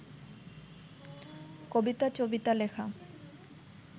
কবিতা-টবিতা লেখা